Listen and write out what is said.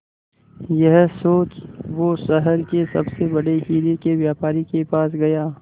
यह सोच वो शहर के सबसे बड़े हीरे के व्यापारी के पास गया